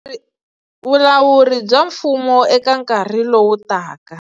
Vulawuri bya mfumo eka nkarhi lowu taka.